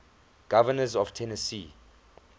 governors of tennessee